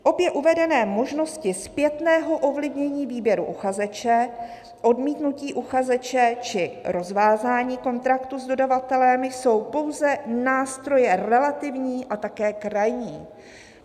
Obě uvedené možnosti zpětného ovlivnění výběru uchazeče, odmítnutí uchazeče či rozvázání kontraktu s dodavatelem, jsou pouze nástroje relativní a také krajní."